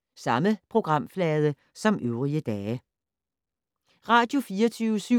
Radio24syv